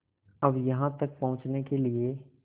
अब यहाँ तक पहुँचने के लिए